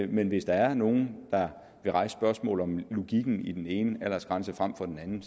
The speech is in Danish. men hvis der er nogle der vil rejse spørgsmål om logikken i den ene aldersgrænse frem for den anden